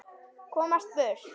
Komast burt.